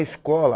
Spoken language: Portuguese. A escola.